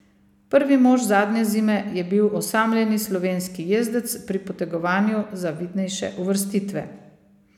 Prvi mož zadnje zime je bil osamljeni slovenski jezdec pri potegovanju za vidnejše uvrstitve.